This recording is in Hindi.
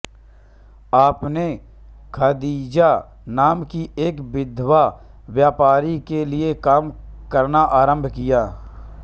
आपने ख़ादीजा नाम की एक विधवा व्यापारी के लिए काम करना आरंभ किया